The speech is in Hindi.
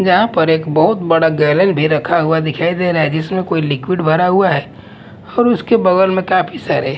जहां पर एक बहुत बड़ा गैलल भी रखा हुआ दिखाई दे रहा है जिसमें कोई लिक्विड भरा हुआ है और उसके बगल में काफी सारे--